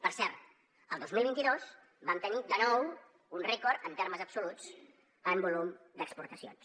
per cert el dos mil vint dos vam tenir de nou un rècord en termes absoluts en volum d’exportacions